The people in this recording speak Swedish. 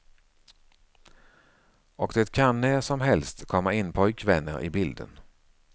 Och det kan när som helst komma in pojkvänner i bilden.